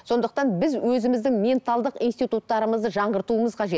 сондықтан біз өзіміздің менталдық институттарымызды жаңғыртуымыз қажет